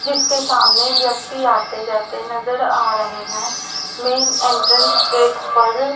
जिसके सामने व्यक्ति आते जाते नजर आ रहे हैं मेन एंट्रेंस गेट पर--